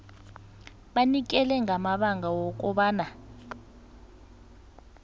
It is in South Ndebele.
banikele ngamabanga wokobana